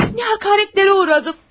Nə həqarətlərə uğradım!